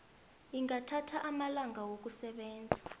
ingathatha amalanga wokusebenza